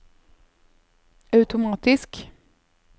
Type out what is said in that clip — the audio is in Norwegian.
automatisk